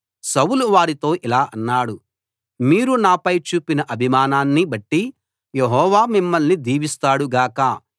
సౌలు వారితో ఇలా అన్నాడు మీరు నాపై చూపిన అభిమానాన్ని బట్టి యెహోవా మిమ్మల్ని దీవిస్తాడు గాక